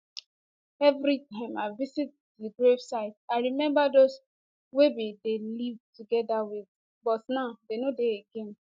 evri time i visit di grave site i remember those wey we bin dey live togeda wit but now dem no dey again